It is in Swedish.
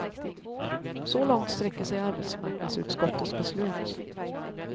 Så långt sträcker sig arbetsmarknadsutskottets beslut.